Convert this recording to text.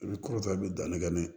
I bɛ kɔrɔfɛ i bɛ danni kɛ n'a ye